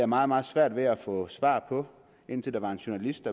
meget meget svært ved at få svar på indtil der var en journalist